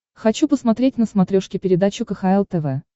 хочу посмотреть на смотрешке передачу кхл тв